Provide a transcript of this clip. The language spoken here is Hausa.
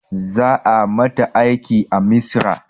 Za a mata aiki a misra